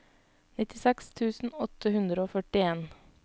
nittiseks tusen åtte hundre og førtien